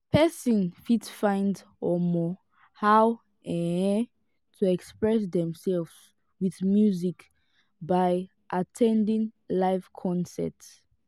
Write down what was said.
person fit find um how um to express themselves with music by at ten ding live concert